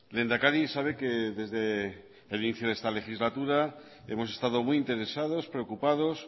lehendakari sabe que desde el inicio de esta legislatura hemos estado muy interesados preocupados